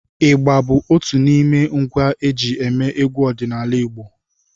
ịgbá bụ otù n’ime ngwá eji émé egwu ọdịnala Igbo